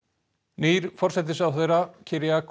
nýr forsætisráðherra